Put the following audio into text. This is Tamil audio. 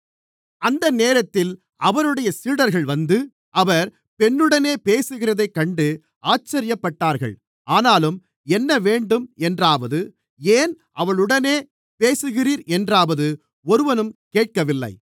அந்தநேரத்தில் அவருடைய சீடர்கள் வந்து அவர் பெண்ணுடனே பேசுகிறதைக் கண்டு ஆச்சரியப்பட்டார்கள் ஆனாலும் என்ன வேண்டும் என்றாவது ஏன் அவளுடனே பேசுகிறீர் என்றாவது ஒருவனும் கேட்கவில்லை